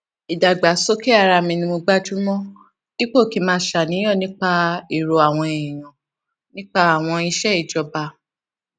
ìdàgbàsókè ara mi ni mo gbájú mọ dípò kí n máa ṣàníyàn nípa èrò àwọn èèyàn nípa àwọn iṣẹ ìjọba